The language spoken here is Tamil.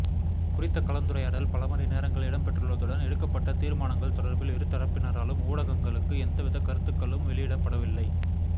குறித்த கலந்துரையாடல் பல மணி நேரங்கள் இடம்பெற்றுள்ளதுடன் எடுக்கப்பட்ட தீர்மானங்கள் தொடர்பில் இரு தரப்பினராலும் ஊடகங்களுக்கு எந்தவித கருத்துக்களும் வெளியிடப்படவில்லை